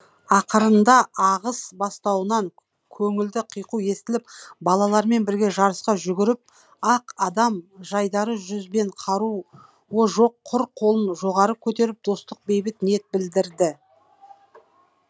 ақырында ағыс бастауынан көңілді қиқу естіліп балалармен бірге жарыса жүгіріп ақ адам жайдары жүзбен қаруы жоқ құр қолын жоғары көтеріп достық бейбіт ниет білдірді